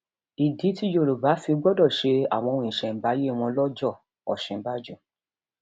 ìdí tí yorùbá fi gbọdọ ṣe àwọn ohun ìṣẹǹbáyé wọn lọjọ òsínbàjò